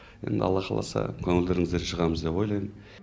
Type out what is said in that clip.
енді алла қаласа көңілдеріңізден шығамыз деп ойлаймын